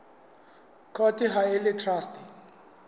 court ha e le traste